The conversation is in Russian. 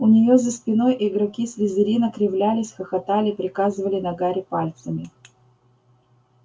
у неё за спиной игроки слизерина кривлялись хохотали показывали на гарри пальцами